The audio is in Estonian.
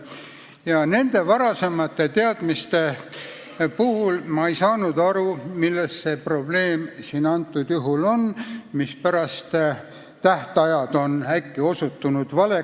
Ja nende varasemate teadmiste pinnal ma ei saanud aru, milles see probleem praegusel juhul on, mispärast tähtajad on äkki osutunud valeks.